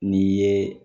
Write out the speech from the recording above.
N'i ye